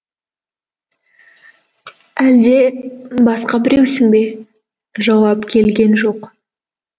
әлде басқа біреусің бе жауап келген жоқ